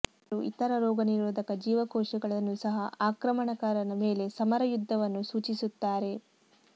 ಅವರು ಇತರ ರೋಗನಿರೋಧಕ ಜೀವಕೋಶಗಳನ್ನು ಸಹ ಆಕ್ರಮಣಕಾರನ ಮೇಲೆ ಸಮರ ಯುದ್ಧವನ್ನು ಸೂಚಿಸುತ್ತಾರೆ